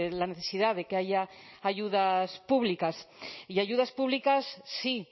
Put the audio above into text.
la necesidad de que haya ayudas públicas y ayudas públicas sí